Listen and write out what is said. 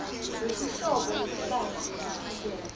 lwetinhlobo letibanti letehlukene